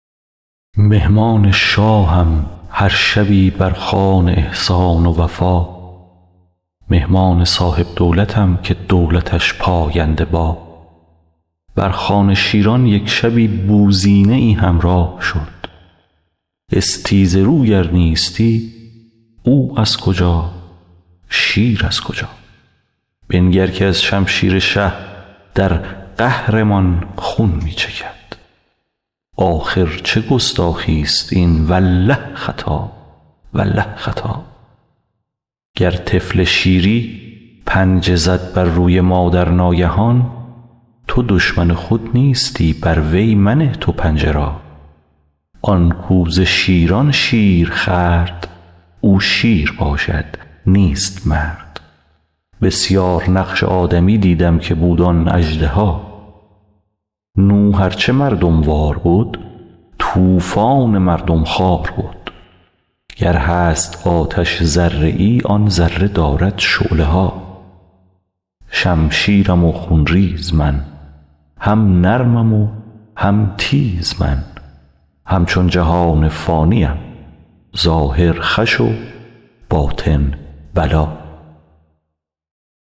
مهمان شاهم هر شبی بر خوان احسان و وفا مهمان صاحب دولتم که دولتش پاینده با بر خوان شیران یک شبی بوزینه ای همراه شد استیزه رو گر نیستی او از کجا شیر از کجا بنگر که از شمشیر شه در قهر مان خون می چکد آخر چه گستاخی است این والله خطا والله خطا گر طفل شیری پنجه زد بر روی مادر ناگهان تو دشمن خود نیستی بر وی منه تو پنجه را آن کاو ز شیران شیر خورد او شیر باشد نیست مرد بسیار نقش آدمی دیدم که بود آن اژدها نوح ار چه مردم وار بد طوفان مردم خوار بد گر هست آتش ذره ای آن ذره دارد شعله ها شمشیرم و خون ریز من هم نرمم و هم تیز من همچون جهان فانی ام ظاهر خوش و باطن بلا